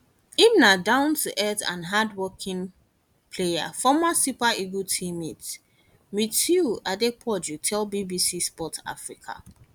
im na downtoearth and hardworking player former super eagles teammate mutiu adepoju tell bbc sport africa